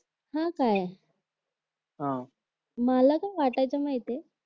हा काय मला काय वाटायचं माहितेय